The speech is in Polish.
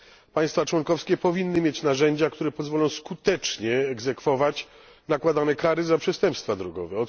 Państwa członkowskie powinny mieć narzędzia, które pozwolą skutecznie egzekwować nakładane kary za przestępstwa drogowe.